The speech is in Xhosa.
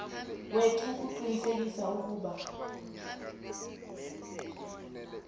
wethu ukuqinisekisa ukuba